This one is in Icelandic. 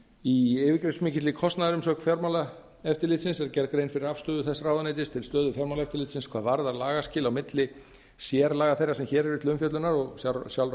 í yfirgripsmikilli kostnaðarumsögn fjármálaráðuneytisins er grein gerð fyrir afstöðu þess ráðuneytis til stöðu fjármálaeftirlitsins hvað varðar lagaskil á milli sérlaga þeirra sem hér eru til umfjöllunar og sjálfra